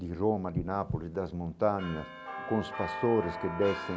De Roma, de Nápoles, das montanhas, com os pastores que descem,